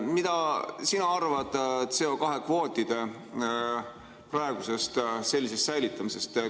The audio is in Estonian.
Mida sina arvad CO2-kvootide praegusest säilitamisest?